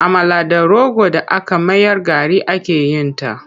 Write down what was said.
Amala da rogo d aka mayar gari ake yin ta.